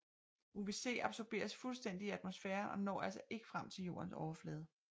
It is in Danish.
UVC absorberes fuldstændigt i atmosfæren og når altså ikke frem til Jordens overflade